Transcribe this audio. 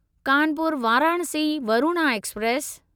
Kanpur Varanasi Varuna express